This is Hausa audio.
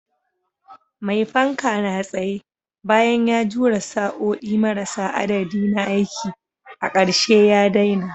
Mai fanka na tsaye, bayan ya jure sa'o'i marasa adadi na aiki, a ƙarshe ya daina.